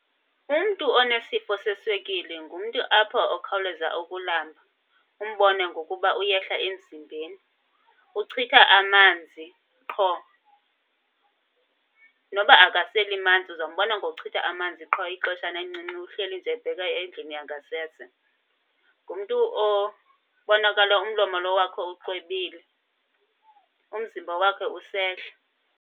Umntu onesifo seswekile ngumntu apha okhawuleza ukulamba, umbone ngokuba uyehla emzimbeni. Uchitha amanzi qho. Noba akaseli manzi uzombona ngokuchitha amanzi qho, ixeshana elincinci uhleli nje ebheka endlini yangasese. Ngumntu obonakala umlomo lo wakho uxwebile, umzimba wakhe usehla.